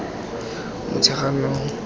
motsheganong